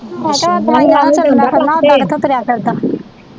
ਮੈ ਕਿਹਾ ਦਵਾਈਆਂ ਨਾਲ ਤੁਰਨਾ ਫਿਰਨਾ ਓਦਾਂ ਕਿੱਥੋਂ ਤੁਰਿਆ ਫਿਰਦਾ।